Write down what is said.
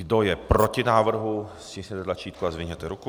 Kdo je proti návrhu, stiskněte tlačítko a zvedněte ruku.